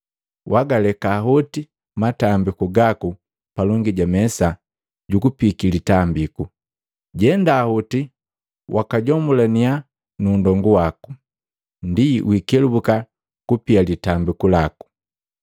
wagaleka hoti matambiku gaku palongi ja mesa jukupiiki litambiku, jenda hoti wakajomulania nu nndongu waku, ndi wikelubuka kupia litambiku laku.